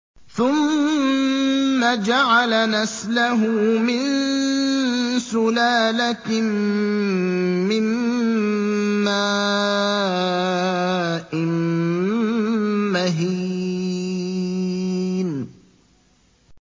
ثُمَّ جَعَلَ نَسْلَهُ مِن سُلَالَةٍ مِّن مَّاءٍ مَّهِينٍ